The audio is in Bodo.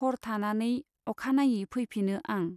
हर थानानै आखानायै फैफिनो आं।